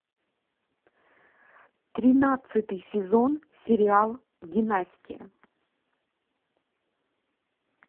тринадцатый сезон сериал династия